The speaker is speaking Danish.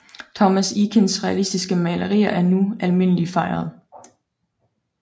Thomas Eakins realistiske malerier er nu almindeligt fejret